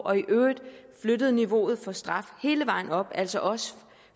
og i øvrigt flyttede niveauet for straf hele vejen op altså også